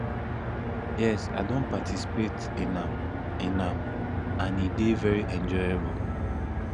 yes i don participate in am in am and e dey very enjoyable